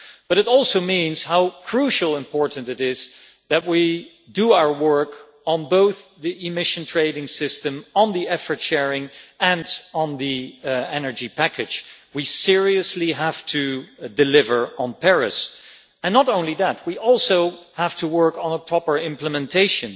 But it also means how crucially important it is that we do our work on both the emission trading system, on the effort sharing, and on the energy package. We seriously have to deliver on Paris, and not only that we also have to work on proper implementation.